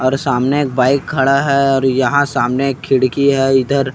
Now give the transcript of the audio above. और सामने एक बाइक खड़ा है और यहाँ सामने एक खड़की है इधर--